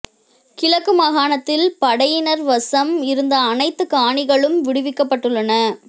கிழக்கு மாகாணத்தில் படையினர் வசம் இருந்த அனைத்து காணிகளும் விடுவிக்கப்பட்டுள்ளன